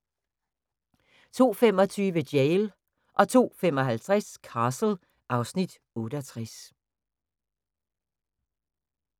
02:25: Jail 02:55: Castle (Afs. 68)